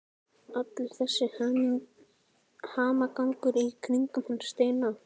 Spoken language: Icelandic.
Allur þessi hamagangur í kringum hann Steina!